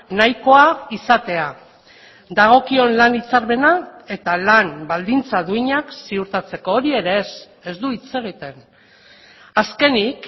nahikoa izatea dagokion lan hitzarmena eta lan baldintza duinak ziurtatzeko hori ere ez ez du hitz egiten azkenik